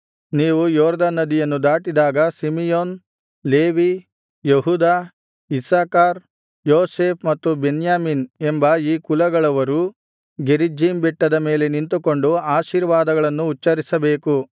ನೀವು ಯೊರ್ದನ್ ನದಿಯನ್ನು ದಾಟಿದಾಗ Simeon Levi Judah Issachar Joseph ಮತ್ತು ಬೆನ್ಯಾಮೀನ್ ಎಂಬ ಈ ಕುಲಗಳವರು ಗೆರಿಜ್ಜೀಮ್ ಬೆಟ್ಟದ ಮೇಲೆ ನಿಂತುಕೊಂಡು ಆಶೀರ್ವಾದಗಳನ್ನು ಉಚ್ಚರಿಸಬೇಕು